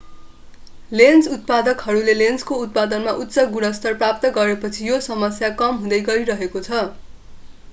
lens उत्पादकहरूले लेन्सको उत्पादनमा उच्च गुणस्तर प्राप्त गरेपछि यो समस्या कम हुँदै गइरहेको छ